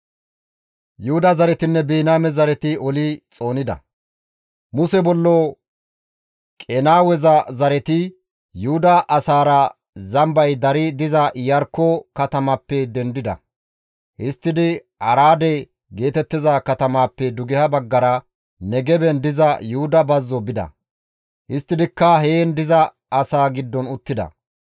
Muse bollo Qenaaweza zereththati Yuhuda asaara Zambay dari diza Iyarkko katamappe dendida; histtidi Araade geetettiza katamaappe dugeha baggara, Negeben diza Yuhuda bazzo bida; histtidikka heen diza asaa giddon uttida.